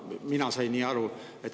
Mina sain nii aru.